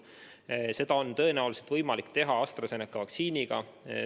Seda on tõenäoliselt võimalik teha AstraZeneca vaktsiiniga.